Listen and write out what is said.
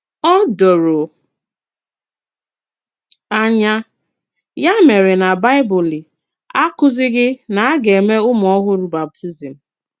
Ó dòrò ànyà, yà mèrè, nà Baịbụl àkụ̀zìghì nà a gà-èmè ùmù-òhùrù bàptízm.